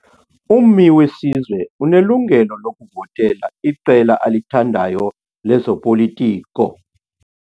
Ummi wesizwe unelungelo lokuvotela iqela alithandayo lezopolitiko.